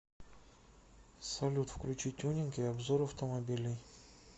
салют включи тюнинг и обзор автомобилей